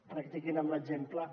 practiquin amb l’exemple